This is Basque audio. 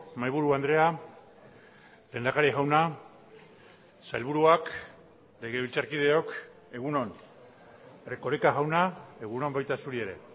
mahaiburu andrea lehendakari jauna sailburuak legebiltzarkideok egun on erkoreka jauna egun on baita zuri ere